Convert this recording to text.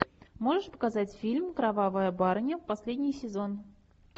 можешь показать фильм кровавая барыня последний сезон